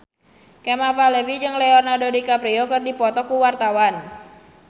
Kemal Palevi jeung Leonardo DiCaprio keur dipoto ku wartawan